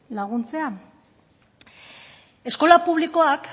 laguntzea eskola publikoak